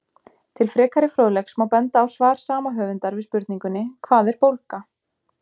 Til frekari fróðleiks má benda á svar sama höfundar við spurningunni Hvað er bólga?